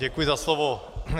Děkuji za slovo.